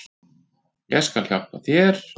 Ég skal hjálpa þér.